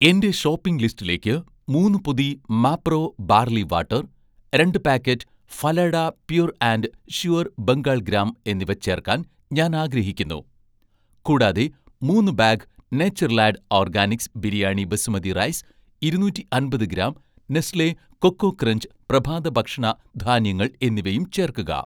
എന്‍റെ ഷോപ്പിംഗ് ലിസ്റ്റിലേക്ക് മൂന്ന് പൊതി മാപ്രോ ബാർലി വാട്ടർ, രണ്ട് packet 'Phalada pure and sure' Bengal gram എന്നിവ ചേർക്കാൻ ഞാൻ ആഗ്രഹിക്കുന്നു. കൂടാതെ മൂന്ന് bag 'Natureland' organics biryani basmati rice, ഇരുന്നൂറ്റി അമ്പത് ഗ്രാം 'നെസ്‌ലെ' കൊക്കോ ക്രഞ്ച് പ്രഭാതഭക്ഷണ ധാന്യങ്ങൾ എന്നിവയും ചേർക്കുക